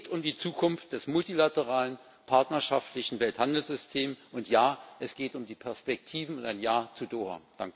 Es geht um die Zukunft des multilateralen partnerschaftlichen Welthandelssystems, und es geht um die Perspektiven und ein Ja zu Doha.